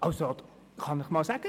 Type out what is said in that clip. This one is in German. Also das kann ich Ihnen sagen: